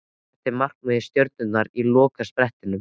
Hvert er markmið Stjörnunnar á lokasprettinum?